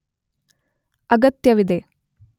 ಅಗತ್ಯವಿದೆ